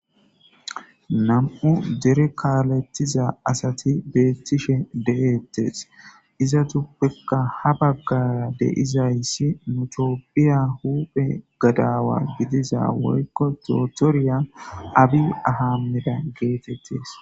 Na'amu dere kalettiza asati bettishe deetes. Izatuppekka ha baggaraka de'iza izi nu tophphiya huphphe gadawa gidiza woykko dotoriya Abiy Ahimmada getetes.